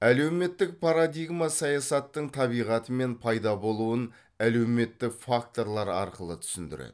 әлеуметтік парадигма саясаттың табиғаты мен пайда болуын әлеуметтік факторлар арқылы түсіндіреді